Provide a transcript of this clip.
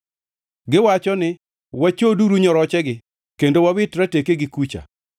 “Giwacho ni, wachoduru nyorochegi; kendo wawit ratekegi kucha.”